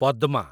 Padma